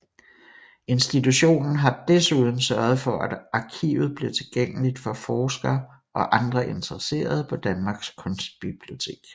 Institutionen har desuden sørget for at arkivet blev tilgængeligt for forskere og andre interesserede på Danmarks Kunstbibliotek